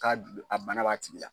Ka a bana b'a tigi la.